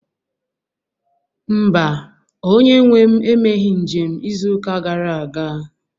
mba, onye nwe m emeghị njem izuụka gara aga